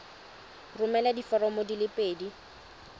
romela diforomo di le pedi